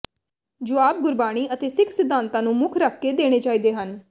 ਜੁਆਬ ਗੁਰਬਾਣੀ ਅਤੇ ਸਿੱਖ ਸਿਧਾਂਤਾਂ ਨੂੰ ਮੁੱਖ ਰੱਖ ਕੇ ਦੇਣੇ ਚਾਹੀਦੇ ਹਨ